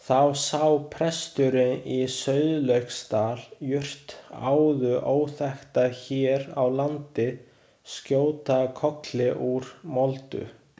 Þá sá presturinn í Sauðlauksdal jurt áður óþekkta hér á landi skjóta kolli úr moldu.